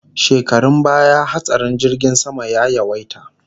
Shekarun baya hatsarin jirgin sama ya yawaita